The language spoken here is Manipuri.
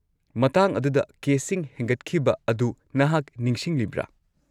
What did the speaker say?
-ꯃꯇꯥꯡ ꯑꯗꯨꯗ ꯀꯦꯁꯁꯤꯡ ꯍꯦꯟꯒꯠꯈꯤꯕ ꯑꯗꯨ ꯅꯍꯥꯛ ꯅꯤꯡꯁꯤꯡꯂꯤꯕ꯭ꯔꯥ?